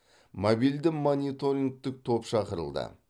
мобильді мониторингтік топ шақырылды